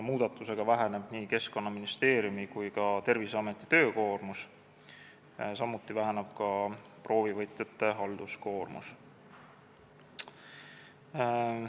Muudatusega väheneb nii Keskkonnaministeeriumi kui ka Terviseameti töökoormus, samuti väheneb proovivõtjate halduskoormus.